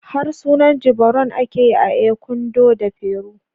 Harsunan Jivaroan ake yi a Ecuador da Peru